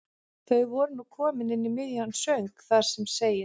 Þau voru nú komin inn í miðjan söng þar sem segir